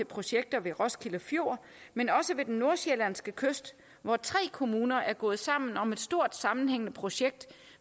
projekter ved roskilde fjord men også ved den nordsjællandske kyst hvor tre kommuner er gået sammen om et stort sammenhængende projekt